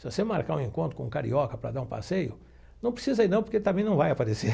Se você marcar um encontro com um carioca para dar um passeio, não precisa ir, não, porque ele também não vai aparecer.